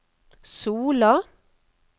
Sola